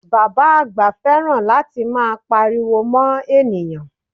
Bàbá àgbà fẹ́ràn láti máa Pariwo mọ́ ènìyàn